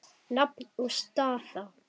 Nafn og staða?